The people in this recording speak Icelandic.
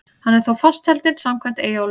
Hann er þó fastheldinn samkvæmt Eyjólfi.